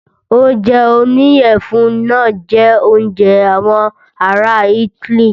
Oúnjẹ oníyẹ̀fun náà jẹ oúnjẹ àwọn ará itály.